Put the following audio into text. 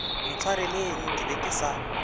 ntshwareleng ke be ke sa